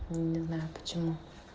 не знаю почему